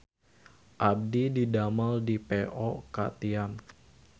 Abdi didamel di Po Ka Tiam